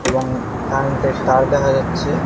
এবং কারেন্টের তার দেখা যাচ্ছে।